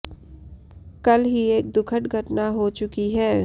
कल ही एक दुखद घटना हो चुकी है